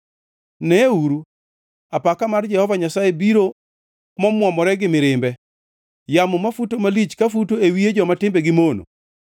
Neuru, apaka mar Jehova Nyasaye biro mwomore gi mirimbe, yamo mafuto malich ka futo e wiye joma timbegi mono.